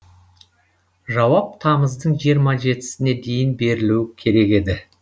жауап тамыздың жиырма жетісіне дейін берілу керек еді